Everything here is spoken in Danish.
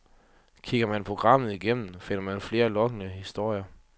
Kigger man programmet igennem, finder man flere lokkende historier.